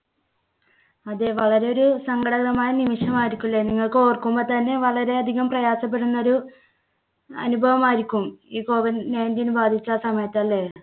അതെ വളരെ ഒരു സങ്കടകരമായ നിമിഷം ആയിരിക്കും ല്ലേ? നിങ്ങൾക്ക് ഓർക്കുമ്പോൾ തന്നെ വളരെയധികം പ്രയാസപ്പെടുന്ന ഒരു അനുഭവമായിരിക്കും ഈ COVID nineteen ബാധിച്ച ആ സമയത്ത് അല്ലേ?